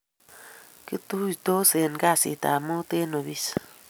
kituisotii en kazit ab muut en ofis